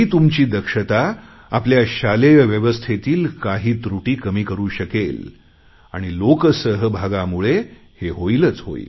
ही तुमची दक्षता आपल्या शालेय व्यवस्थेतील काही त्रुटी कमी करु शकेल आणि लोक सहभागामुळे हे होईलच